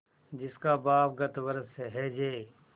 जिसका बाप गत वर्ष हैजे